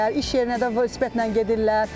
İş yerinə də velosipedlə gedirlər.